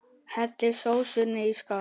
Hellið sósunni í skál.